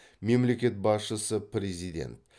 мемлекет басшысы президент